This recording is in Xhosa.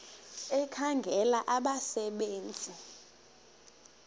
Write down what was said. ekhangela abasebe nzi